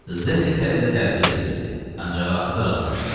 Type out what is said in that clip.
Zdenek hələ də tərəddüd eləyirdi, ancaq axırda razılaşdı.